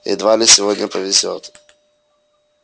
едва ли и сегодня повезёт